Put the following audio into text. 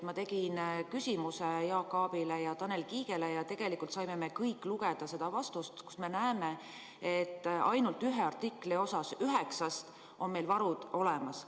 Ma esitasin küsimuse Jaak Aabile ja Tanel Kiigele ja me kõik saime lugeda seda vastust, kust me näeme, et ainult ühel artiklil üheksast on meil varud olemas.